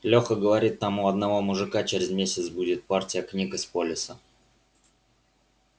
леха говорит там у одного мужика через месяц будет партия книг из полиса